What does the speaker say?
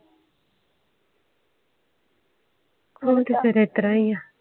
ਹੁਣ ਤੇ ਫੇਰ ਇਤਰ ਏ ਆ